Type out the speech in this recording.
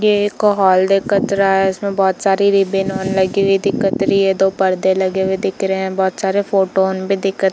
ये एक हॉल दिखत रहा है इसमें बहुत सारा रिबन उब्बन लगी हुई दिखत रही है दो परदे लगे हुए दिख रहे है बहुत सारे फोटो ऑन भी दिखत --